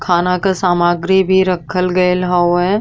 खाना का सामग्री भी रखल गइल हवे।